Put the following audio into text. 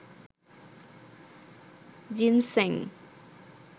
ginseng